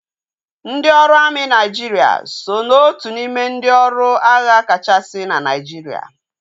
Ndị ọrụ amị Naijiria so na otu n'ime ndị ọrụ agha kachasị na Naijiria